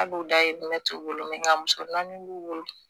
Ali u dayidinɛ t'u bolo nka muso naani b'u bolo